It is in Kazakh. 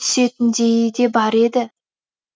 түсетіндейі де бар еді